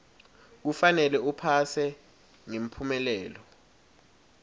kufanele uphase ngemphumelelo